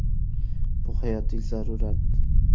Bu hayotiy zarurat.